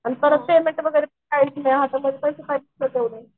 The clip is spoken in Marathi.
आणि पेमेंट वगैरे कायच नाही कसं काय